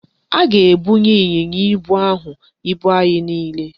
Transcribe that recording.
A ga-ebunye ịnyịnya ibu ahụ ibu anyị niile.